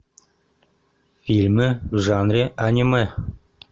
фильмы в жанре аниме